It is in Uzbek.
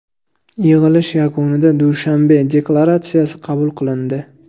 Yig‘ilish yakunida Dushanbe deklaratsiyasi qabul qilindi.